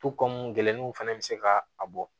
gɛlɛnw fɛnɛ be se ka a bɔ